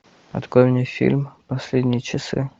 открой мне фильм последние часы